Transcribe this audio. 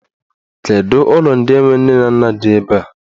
Kedụ ụlọ ndị enwe nne na nna di ebe a?